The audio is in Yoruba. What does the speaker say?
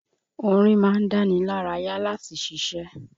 Orin ma ń dánilárayá láti ṣiṣé.